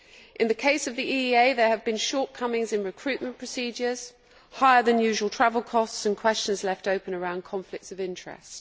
In the case of the EEA, there have been shortcomings in recruitment procedures, higher than usual travel costs and questions left open around conflicts of interest.